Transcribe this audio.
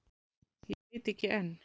Ég veit ekki enn.